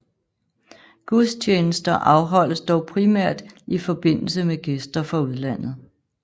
Gudstjenester afholdes dog primært i forbindelse med gæster fra udlandet